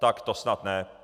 Tak to snad ne.